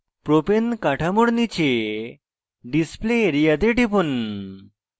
propane কাঠামোর নীচে display area তে টিপুন